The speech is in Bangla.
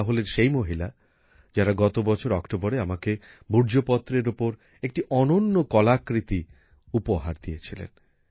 এরা হলেন সেই মহিলা যারা গত বছর অক্টোবরে আমাকে ভূর্জপত্রের উপর একটি অনন্য কলাকৃতি উপহার দিয়েছিলেন